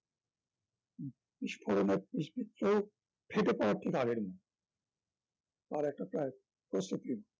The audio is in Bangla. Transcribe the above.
বিস্ফোরণে বিদ্ধ হয়ে ফেটে পড়ার ঠিক আগের মুহূর্ত তার একটা প্রায় প্রস্তুতি